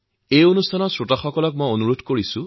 এনে আৰু কেইবাটাও নতুন কেন্দ্ৰ খোলা হৈছে